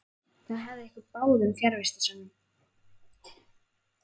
Það hefði gefið ykkur báðum fjarvistarsönnun.